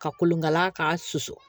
Ka kolonkala k'a susu